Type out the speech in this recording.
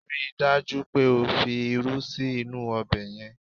Rí i dájú pé o fi irú sí inú ọbẹ̀ yẹn!